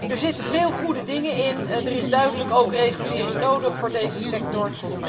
Er zitten veel goede dingen in en er is duidelijk ook regulering nodig voor deze sector.